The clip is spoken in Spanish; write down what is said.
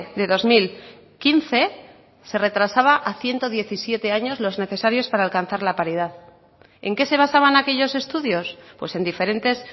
de dos mil quince se retrasaba a ciento diecisiete años los necesarios para alcanzar la paridad en qué se basaban aquellos estudios pues en diferentes